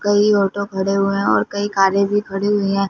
कई ऑटो खड़े हुए हैं और कई कारें भी खड़ी हुई हैं।